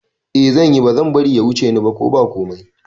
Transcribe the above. Eh zanyi, bazan bari ya wuce ni ba ko ba komai